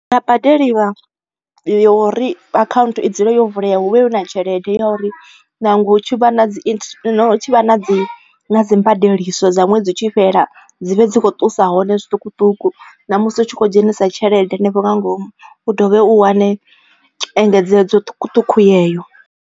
Hua badeliwa yori account i dzule yo vulea hu vhe hu na tshelede ya uri nangwe hu tshi vha na dzi hu tshi vha na dzi mbadeliso dza ṅwedzi utshi fhela dzi vhe dzi kho ṱusa hone zwiṱukuṱuku na musi u tshi kho dzhenisa tshelede henefho nga ngomu u dovhe u wane engedzedzo ṱhukuṱhuku yeyo.